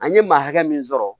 An ye maa hakɛ min sɔrɔ